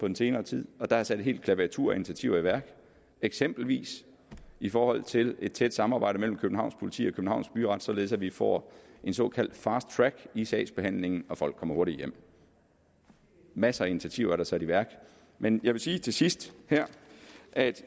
den senere tid og der er sat et helt klaviatur af initiativer i værk eksempelvis i forhold til et tæt samarbejde mellem københavns politi og københavns byret således at vi får en såkaldt fast track i sagsbehandlingen og folk kommer hurtigere hjem masser af initiativer er der sat i værk men jeg vil sige til sidst her at